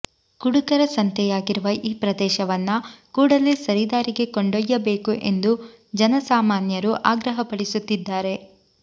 ಕುಡುಕರ ಸಂತೆಯಾಗಿರುವ ಈ ಪ್ರದೇಶವನ್ನ ಕೂಡಲೇ ಸರಿ ದಾರಿಗೆ ಕೊಂಡೊಯ್ಯಬೇಕು ಎಂದು ಜನ ಸಾಮಾನ್ಯರು ಆಗ್ರಹಪಡಿಸುತ್ತಿದ್ದಾರೆ